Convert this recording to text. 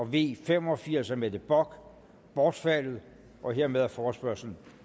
v fem og firs af mette bock bortfaldet hermed er forespørgslen